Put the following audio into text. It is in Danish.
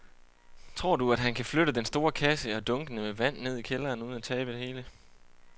Tror du, at han kan flytte den store kasse og dunkene med vand ned i kælderen uden at tabe det hele?